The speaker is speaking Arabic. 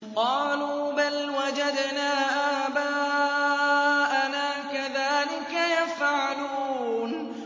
قَالُوا بَلْ وَجَدْنَا آبَاءَنَا كَذَٰلِكَ يَفْعَلُونَ